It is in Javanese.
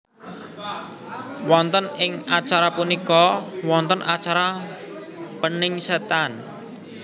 Wonten ing acara punika wonten acara peningsetan